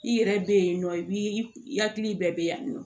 I yɛrɛ be yen nɔ i bi hakili bɛɛ be yan nɔ